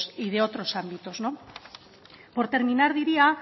y de otros ámbitos por terminar diría